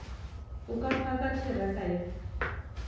o ka phaka theraka ya